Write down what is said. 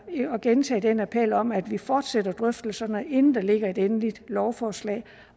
at gentage den appel om at vi fortsætter drøftelserne inden der ligger et endeligt lovforslag